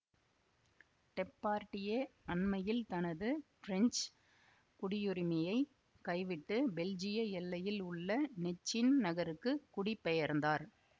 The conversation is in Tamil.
டெப்பார்டியே அண்மையில் தனது பிரெஞ்சு குடியுரிமையைக் கைவிட்டு பெல்ஜிய எல்லையில் உள்ள நெச்சின் நகருக்குக் குடி பெயர்ந்தார்